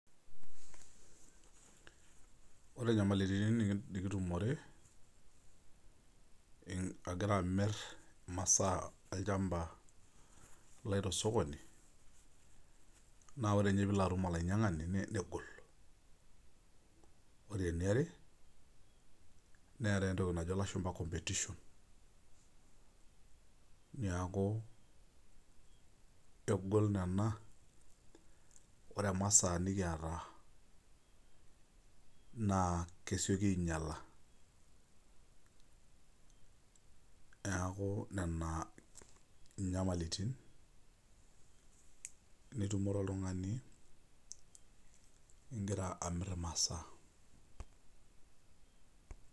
Ore nyamalitin nikitumore agira amir imasaa ainei tolchamba naa ore ninye pilo atum olainyangani negolu .Ore eniare neetae entoki najo lashumba competition niaku ore masa nikiata naa kesioki ainyiala niaku nena nyamalitin nitumore oltungani ingira amir imasaa.